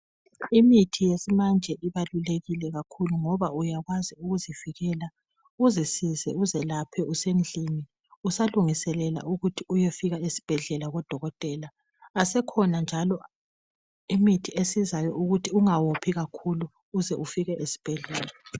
Imithi yesimanje ibalulekile kakhulu ngoba uyakwazi ukuzivikela uzisize uzelaphe usendlini usalungiselela ukuthi uyefika esibhedlela kudokotela. Asekhona njalo imithi esizayo ukuthi ungawophi kakhulu uze ufike esibhedlela.